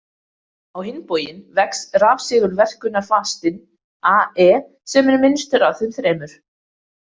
Á hinn bóginn vex rafsegulverkunarfastinn, a e, sem er minnstur af þeim þremur.